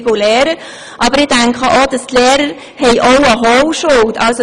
Ich denke aber, dass die Lehrer auch eine Holschuld haben.